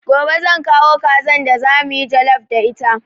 Gobe zan kawo kazan da za mu yi jallaf da ita.